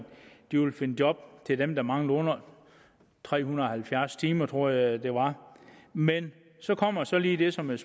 de vil finde job til dem der mangler under tre hundrede og halvfjerds timer tror jeg det var men så kommer der lige det som jeg